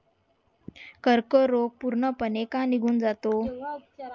कर्क रोग पूर्ण पणे का निघून जातो